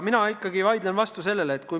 Mina ikkagi vaidlen vastu sellele.